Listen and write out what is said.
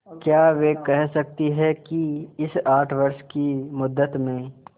क्या वे कह सकती हैं कि इस आठ वर्ष की मुद्दत में